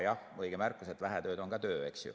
Jah, õige märkus, et vähe tööd on ka töö.